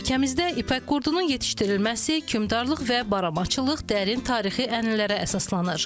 Ölkəmizdə ipək qurdunun yetişdirilməsi, kümdarlıq və baramaçılıq dərin tarixi ənəllərə əsaslanır.